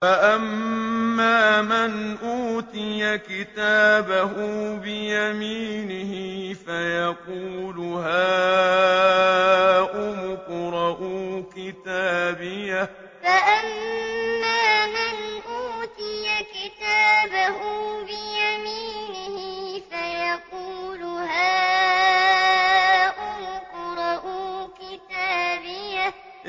فَأَمَّا مَنْ أُوتِيَ كِتَابَهُ بِيَمِينِهِ فَيَقُولُ هَاؤُمُ اقْرَءُوا كِتَابِيَهْ فَأَمَّا مَنْ أُوتِيَ كِتَابَهُ بِيَمِينِهِ فَيَقُولُ هَاؤُمُ اقْرَءُوا كِتَابِيَهْ